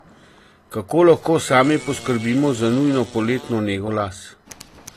Kako lahko sami poskrbimo za nujno poletno nego las?